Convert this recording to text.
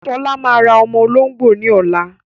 Ṣọlá máa ra ọmọ olóngbò ní ọ̀la.